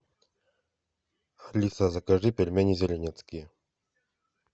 алиса закажи пельмени зеленецкие